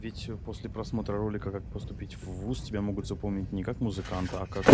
ведь после просмотра ролика как поступить в вуз тебя могут запомнить никак музыканта а как